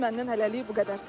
Məndən hələlik bu qədər.